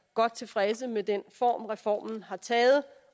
godt tilfredse med den form reformen har taget